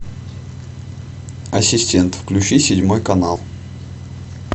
ассистент включи седьмой канал